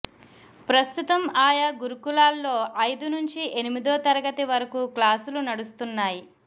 ప్రస్తుతం ఆయా గురుకులాల్లో ఐదు నుంచి ఎనిమిదో తరగతి వరకు క్లాసులు నడుస్తున్నాయి